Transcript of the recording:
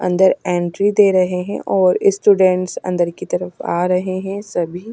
अंदर एंट्री दे रहे हैंऔर स्टूडेंट्स अंदर की तरफ आ रहे हैं सभी--